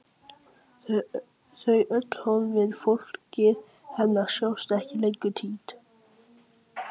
Þau öll horfin, fólkið hennar, sjást ekki lengur, týnd.